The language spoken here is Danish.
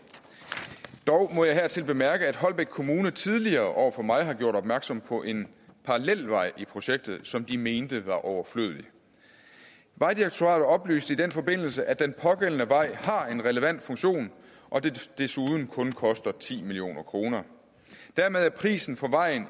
dog må jeg hertil bemærke at holbæk kommune tidligere over for mig har gjort opmærksom på en parallelvej i projektet som de mente var overflødig vejdirektoratet oplyste i den forbindelse at den pågældende vej har en relevant funktion og at den desuden kun koster ti million kroner dermed er prisen for vejen